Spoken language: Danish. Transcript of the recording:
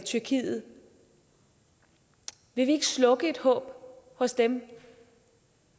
tyrkiet vil vi ikke slukke et håb hos dem